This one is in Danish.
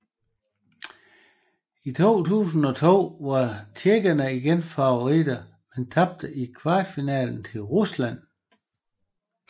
I 2002 var tjekkerne igen favoritter men tabte i kvartfinalen til Rusland